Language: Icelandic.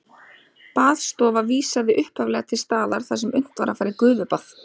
Baðstofa vísaði upphaflega til staðar þar sem unnt var að fara í gufubað.